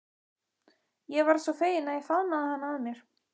Ég varð svo fegin að ég faðmaði hana að mér.